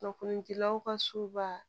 Kunnafonidilaw ka soba